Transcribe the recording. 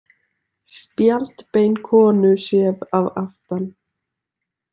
Spjaldbein konu séð að aftan.